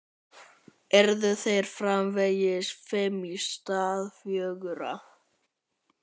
Yrðu þeir framvegis fimm í stað fjögurra?